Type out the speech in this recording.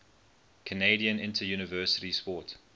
canadian interuniversity sport